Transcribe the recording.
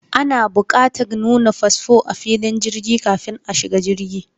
Ana bukatar nuna fasfo a filin jirgi kafin a shiga jirgi.